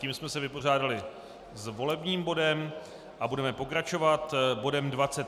Tím jsme se vypořádali s volebním bodem a budeme pokračovat bodem